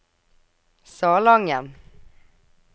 Salangen